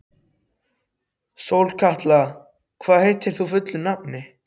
Sólkatla, hvað heitir þú fullu nafni?